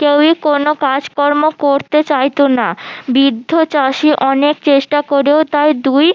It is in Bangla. কেউই কোনো কাজকর্ম করতে চাইতোনা বৃদ্ধ চাষি অনেক চেষ্টা করেও তার দুই